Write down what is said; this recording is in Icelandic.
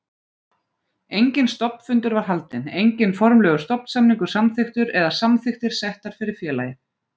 Enginn stofnfundur var haldinn, enginn formlegur stofnsamningur samþykktur eða samþykktir settar fyrir félagið.